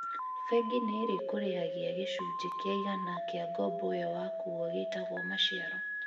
Bengi nĩ ĩrĩ kũrĩ hagia gachunjĩ kia igana kia ngombo iyo wakua gĩtagũo maciaro